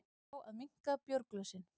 Fá að minnka bjórglösin